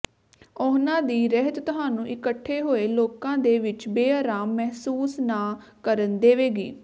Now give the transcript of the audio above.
ਉਹਨਾਂ ਦੀ ਰਹਿਤ ਤੁਹਾਨੂੰ ਇਕੱਠੇ ਹੋਏ ਲੋਕਾਂ ਦੇ ਵਿੱਚ ਬੇਆਰਾਮ ਮਹਿਸੂਸ ਨਾ ਕਰਨ ਦੇਵੇਗੀ